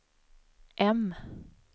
M